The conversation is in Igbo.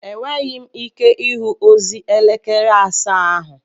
Enweghị m ike ịhụ ozi elekere asaa ahụ